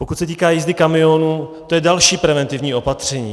Pokud se týká jízdy kamionů, to je další preventivní opatření.